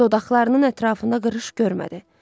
dodaqlarının ətrafında qırış görmədi.